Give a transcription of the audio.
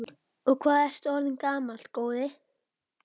Og hvað ertu orðinn gamall, góði?